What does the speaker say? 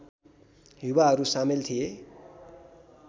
युवाहरू सामेल थिए